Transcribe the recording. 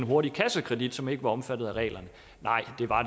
hurtig kassekredit som ikke var omfattet af reglerne nej det var